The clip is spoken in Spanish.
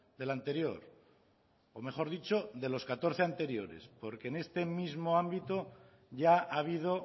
del anterior o mejor dicho de los catorce anteriores porque en este mismo ámbito ya ha habido